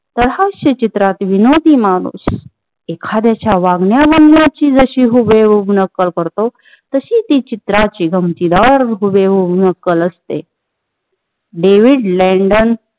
सह हास्य चित्रात विनोदी माणूस एखाद्याच्या वागण्या बोलण्याची जशी हुबेहूब नक्कल करतो. तशी ती चित्राची गमतीदार हुबेहू नक्कल असते. David Landon